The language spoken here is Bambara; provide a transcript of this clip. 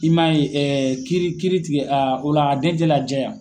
I man ye kiiri kiiri tigi o la a den tɛ lajɛ yan.